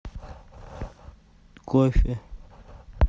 кофе